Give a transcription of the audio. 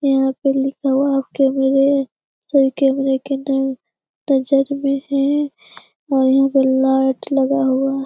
यहाँ पे लिखा हुआ है आप कैमरे सब कैमरे के नजर में हैं और यहाँ पे लाइट लगा हुआ ह --